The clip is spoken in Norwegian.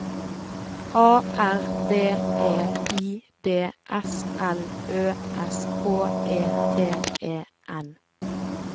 A R B E I D S L Ø S H E T E N